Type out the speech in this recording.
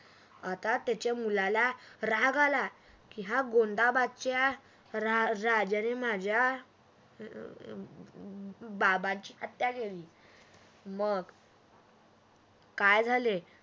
आता त्याच्या मुलाला राग आला की गोंधाबादच्या राजाने माझ्या बाबांची हत्या केली मग काय झाले?